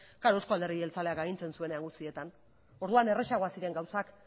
noski eusko alderdi jeltzaleak agintzen zuen guztietan orduan errazagoak ziren gauzak